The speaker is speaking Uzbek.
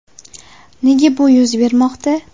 Nega bu yuz bermoqda?